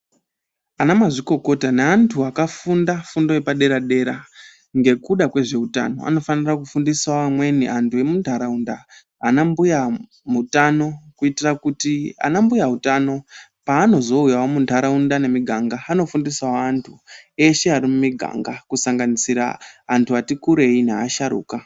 Ana mazvikokota naantu akafunda fundo yapadera dera ngekuda kwezveutano .A nofanira kufundisawo amweni antu emuntaraunda ana mbuyautano. Kuitira kuti ana mbuyautano paanozouyawo muntaraunda nemumiganga, anofundisawo antu eshe ari mumiganga kusanganisa antu ati kurei naasharuka.